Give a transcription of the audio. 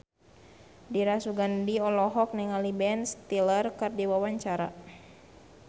Dira Sugandi olohok ningali Ben Stiller keur diwawancara